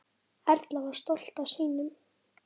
Erla var stolt af sínum.